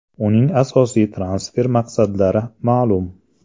Uning asosiy transfer maqsadlari ma’lum.